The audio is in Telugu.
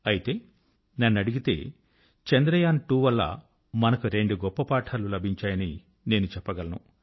అయితే నన్నడిగితే చంద్రయాన్2 వల్ల మనకు రెండు గొప్ప పాఠాలు లభించాయని నేను చెప్పగలను